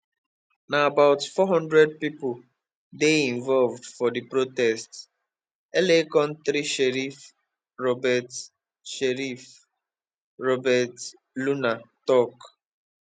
na about four hundred pipo dey involved for di protests la county sheriff robert sheriff robert luna tok